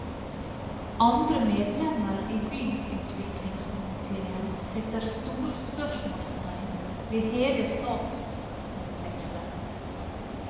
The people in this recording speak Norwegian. Andre medlemmer i byutviklingskomitéen setter store spørsmålstegn ved hele sakskomplekset.